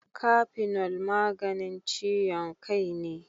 Kafinol maganin ciyon kai ne.